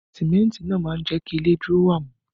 Símẹ́ntì náà máa ń jẹ kí ilé dúró wámú